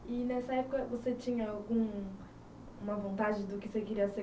E, nessa época, você tinha algum, alguma vontade do que você queria ser